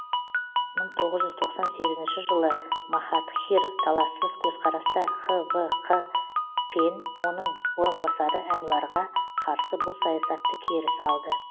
мың тоғыз жүз тоқсан сегізінші жылы махатхир талассыз көзқараста хвқ пен оның орынбасары әнуәрға қарсы бұл саясатты кері салды